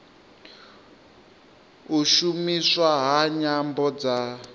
u shumiswa ha nyambo dza